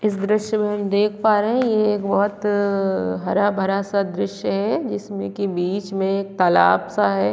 इस दृश्य में देख पा रहे हैं ये एक बोहोत हरा-भरा सा दृश्य हैं जिसमे की बिच में एक तालाब सा हैं।